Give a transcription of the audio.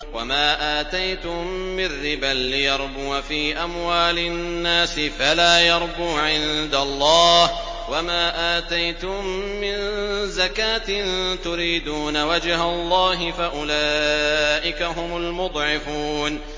وَمَا آتَيْتُم مِّن رِّبًا لِّيَرْبُوَ فِي أَمْوَالِ النَّاسِ فَلَا يَرْبُو عِندَ اللَّهِ ۖ وَمَا آتَيْتُم مِّن زَكَاةٍ تُرِيدُونَ وَجْهَ اللَّهِ فَأُولَٰئِكَ هُمُ الْمُضْعِفُونَ